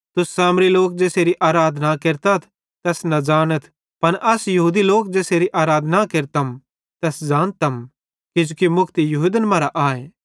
तुस सामरी लोक ज़ेसेरी आराधना केरतथ तैस न ज़ानथ पन अस यहूदी लोक ज़ेसेरी आराधना केरतम तैस ज़ानतम किजोकि मुक्ति यहूदन मरां आए